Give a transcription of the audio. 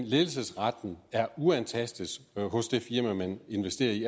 ledelsesretten er uantastet i det firma man investerer i